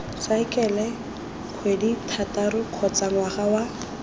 saekele kgwedithataro kgotsa ngwaga wa